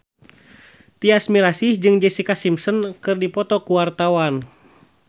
Tyas Mirasih jeung Jessica Simpson keur dipoto ku wartawan